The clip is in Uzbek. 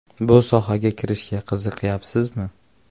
Bu sohaga kirishga qiziqayapsizmi?